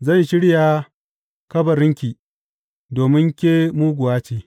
Zan shirya kabarinki, domin ke muguwa ce.